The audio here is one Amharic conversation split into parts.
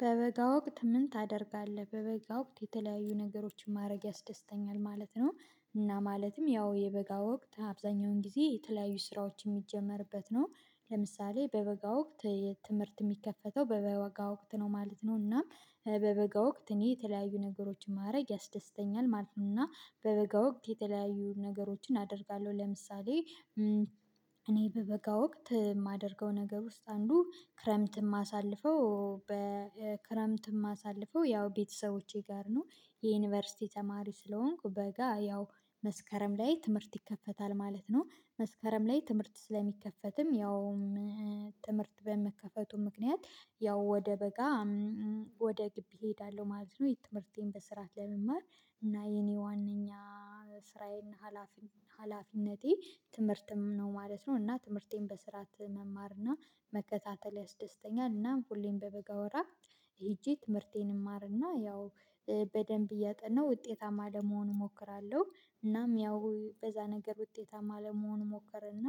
በበጋ ወቅት ምን ታደርጋለህ? በበጋ ወቅት የተለያዩ ነገሮችን ማድረግ ያስደስተኛል ማለት ነው። እና ማለትም ያው የበጋ ወቅት አብዛኛውን ጊዜ የተለያዩ ስራዎች የሚጀመርበት ነው። ለምሳሌ በበጋ ወቅት የትምህርት የሚከፈተው በበጋ ወቅት ነው ማለት ነው። እና በበጋ ወቅት እኔ የተለያዩ ነገሮችን ማድረግ ያስደስተኛል ማለት ነው። እና በበጋ ወቅት የተለያዩ ነገሮችን አደርጋለሁ። ለምሳሌ እኔ በበጋ ወቅት የማደርገው ነገር ውስጥ አንዱ ክረምት የማሳልፈው በክረምት የማሳልፈው ያው ቤተሰቦቼ ጋር ነው። የዩኒቨርሲቲ ተማሪ ስለሆንኩ በጋ ያው መስከረም ላይ ትምህርት ይከፈታል ማለት ነው። መስከረም ላይ ትምህርት ስለሚከፈትም ያውም ትምህርት በመከፈቱ ምክንያት ያው ወደ በጋ ወደ ግቢ እሄዳለሁ ማለት ነው። የትምህርቴን በስርዓት ለመማር እና የኔ ዋናኛ ስራዬን እና ሀላፊነቴ ትምህርትም ነው ማለት ነው። እና ትምህርቴን በስርዓት መማርና መከታተል ያስደስተኛል። እናም ሁሌም በበጋ ወራት ሄጄ ትምህርቴን እማርና ያው በደንብ እያጠናሁ ውጤታማ ለመሆኑ እሞክራለሁ። እናም ያው በዛ ነገር ውጤታማ ለመሆን እሞከረና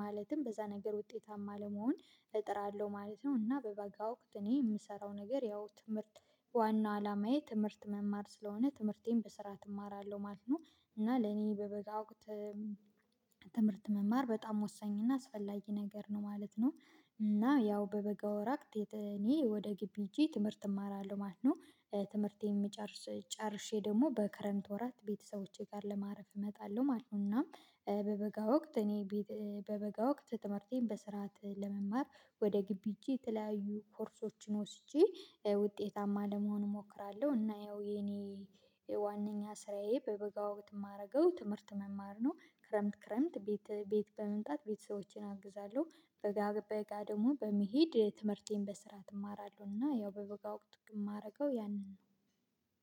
ማለትም በዛ ነገር ውጤታማ ለመሆን እጥራለሁ ማለት ነው። እና በበጋ ወቅት እኔ የምሰራው ነገር ያው ትምህርት ዋናው አላማዬ ትምህርት መማር ስለሆነ ትምህርቴን በስራ እማራለሁ ማለት ነው። እና ለኔ በበጋ ወቅት ትምህርት መማር በጣም ወሳኝ እና አስፈላጊ ነገር ነው ማለት ነው። እና ያው በበጋ ወራት እኔ ወደ ግቢ ሄጄ ትምህርት እማራለሁ ማለት ነው። ትምህርቴን የሚጨርስ ጨርሼ ደግሞ በክረምት ወራት ቤተሰቦቼ ጋር ለማረፍ እመጣለሁ ማለት ነው። እና በበጋ ወቅት እኔ በበጋ ወቅት ትምህርቴን በስርዓት ለመማር ወደ ግቢ ሄጄ የተለያዩ ኮርሶችን ወስጄ ውጤታማ ለመሆን እሞክራለሁ። እና ያው የኔ ዋናኛ ስራዬ በበጋ ወቅት የማደርገው ትምህርት መማር ነው። ክረምት ክረምት ቤት ቤት በመምጣት ቤተሰቦቼን አግዛለሁ፣ በጋ በጋ ደግሞ በመሄድ ትምህርቴን በስርዓት እማራለሁና ያው በበጋ ወቅት የማደርገው ያንን ነው።